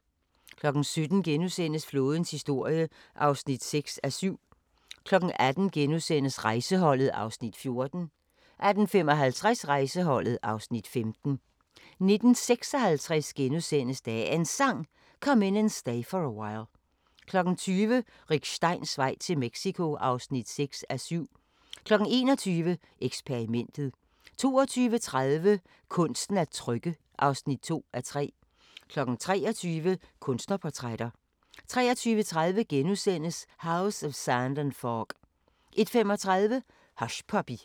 17:00: Flådens historie (6:7)* 18:00: Rejseholdet (Afs. 14)* 18:55: Rejseholdet (Afs. 15) 19:56: Dagens Sang: Come In And Stay For A While * 20:00: Rick Steins vej til Mexico (6:7) 21:00: Eksperimentet 22:30: Kunsten at trykke (2:3) 23:00: Kunstnerportrætter 23:30: House of Sand and Fog * 01:35: Hushpuppy